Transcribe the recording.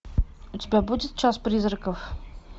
у тебя будет час призраков